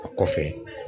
A kɔfɛ